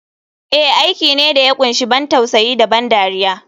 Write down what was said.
Eh aiki ne da ya kunshi ban tausayi da ban dariya.